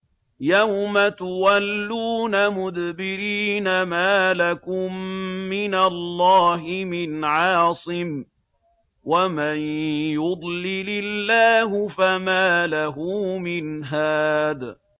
يَوْمَ تُوَلُّونَ مُدْبِرِينَ مَا لَكُم مِّنَ اللَّهِ مِنْ عَاصِمٍ ۗ وَمَن يُضْلِلِ اللَّهُ فَمَا لَهُ مِنْ هَادٍ